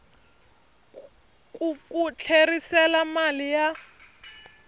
ku ku tlherisela mali ya